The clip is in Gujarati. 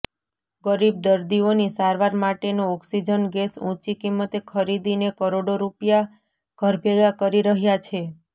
ગરીબ દર્દીઓની સારવાર માટેનો ઓક્સિજન ગેસ ઊંચી કિંમતે ખરીદીને કરોડો રૂપિયા ઘરભેગા કરી રહ્યા છે